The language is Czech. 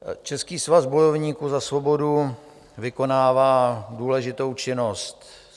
Český svaz bojovníků za svobodu vykonává důležitou činnost.